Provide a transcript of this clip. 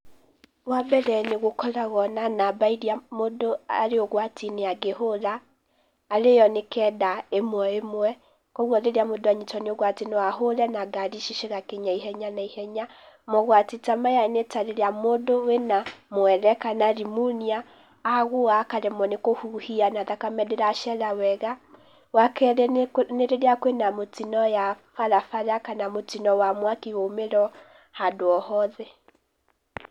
Wa mbere nĩ gũkoragwo na namba iria mũndũ arĩ ũgwati-inĩ angĩhũra, arĩ yo nĩ kenda ĩmwe ĩmwe, kwoguo rĩrĩa mũndũ anyitwo nĩ ũgwati no ahũre, na ngari ici cigakinya ihenya na ihenya, Mogwati ta maya nĩ ta rĩrĩa mũndũ arĩ na mwere kana rimunia, agũa akaremwo nĩ kũhuhia, na thakame ndĩracera wega, Wa kerĩ nĩ rĩrĩa kwĩna mũtino ya barabara kana mũtino wa mwaki waumĩra o rĩmwe handũ o hothe.